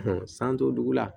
san t'o dugu la